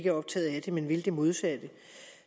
er optaget af det men vil det modsatte